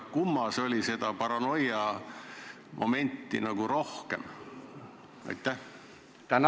Kummas oli seda paranoiamomenti nagu rohkem?